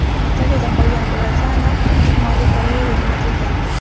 Lekin Italiyada qolgan bolasi aniq Shimoliy Koreyaga jo‘natilgan.